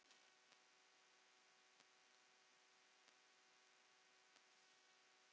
Þannig gekk það næstu sumrin.